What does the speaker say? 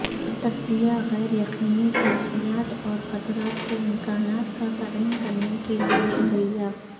تجزیہ غیر یقینی کیفیات اور خطرات کے امکانات کا تعین کرنے کے لئے کلیہ